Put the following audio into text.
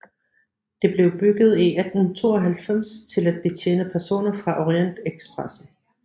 Det blev bygget i 1892 til at betjene personer fra Orientekspressen